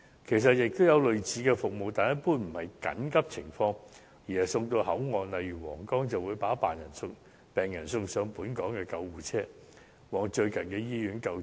其實現時也有類似的服務，但一般不是用於緊急情況，而是把病人送到口岸，例如皇崗，再轉送上本港救護車，前往最近的醫院救治。